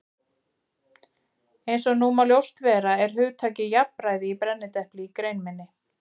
Eins og nú má ljóst vera er hugtakið jafnræði í brennidepli í grein minni.